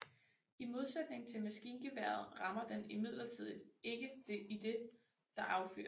I modsætning til maskingeværet rammer den imidlertid ikke idet der affyres